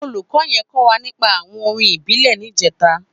Ólúkò yèn kò wá nípà áwòn órìn ìbílè nijètá